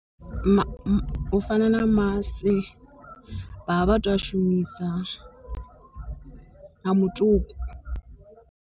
U fana na masi vhavha to u a shumisa na mutuku.